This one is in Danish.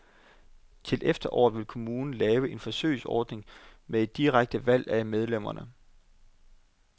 Til efteråret vil kommunen lave en forsøgsordning med et direkte valg af medlemmerne.